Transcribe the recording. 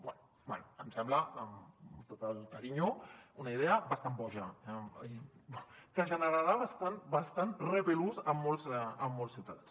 bé em sembla amb tot el carinyo una idea bastant boja que generarà bastanta repulsió en molts ciutadans